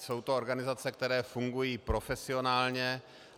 Jsou to organizace, které fungují profesionálně.